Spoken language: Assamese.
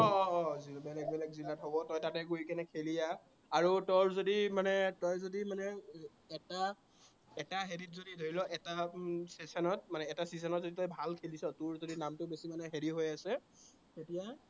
বেলেগ বেলগে জিলাত হব, তই তাতে গৈ কিনে খেলি আহ। আৰু তোৰ যদি মানে, তই যদি মানে এটা এটা হেৰিত যদি, ধৰি ল উম এটা session ত মানে এটা season যদি তই ভাল খেলিছ, তোৰ যদি নামটো মানে বেছি হেৰি হৈ আছে, তেতিয়া